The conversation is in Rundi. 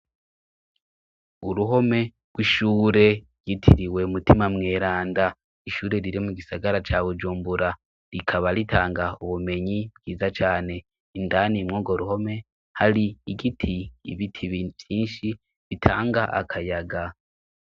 Uruhome rw'ishure ryitiriwe mutima mweranda. Ishure riri mu gisagara ca Bujumbura, rikaba ritanga ubumenyi bwiza cane. Indani muri urwo ruhome hari igiti, ibiti vyinshi bitanga akayaga.